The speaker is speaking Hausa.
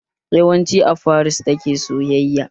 Yawancin a Faris ta ke sayayya